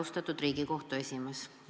Austatud Riigikohtu esimees!